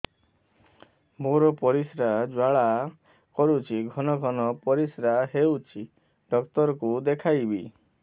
ମୋର ପରିଶ୍ରା ଜ୍ୱାଳା କରୁଛି ଘନ ଘନ ପରିଶ୍ରା ହେଉଛି ଡକ୍ଟର କୁ ଦେଖାଇବି